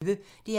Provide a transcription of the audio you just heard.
DR P1